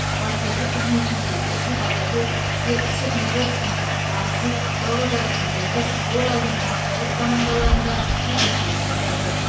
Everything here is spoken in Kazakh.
бапкерлік қызметінде есіл богатырь степногорскінің ақсу павлодардың ертіс оралдың ақжайық командаларында жетекшілік жасады